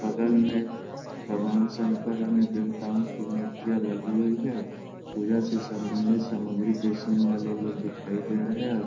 बगल में भगवान शंकर अन्य देवताओं की मूर्तियाँ लगी हुई हैं पूजा से सम्बंधित सामग्री बेचने वाले लोग दिखाई दे रहे है।